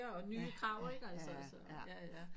Og nye krav